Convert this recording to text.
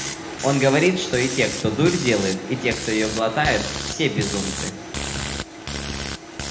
он говорит что и те кто дурь делает и те кто её глотает все безумцы